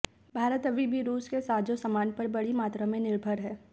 भारत अभी भी रूस के साजो सामान पर बड़ी मात्रा में निर्भर है